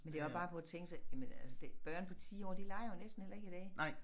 Men det er også bare prøv at tænke sig jamen altså det børn på 10 år de leger jo næsten heller ikke i dag